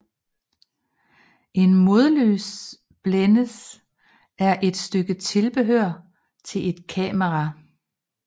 En modlysblændes er et stykke tilbehør til et kamera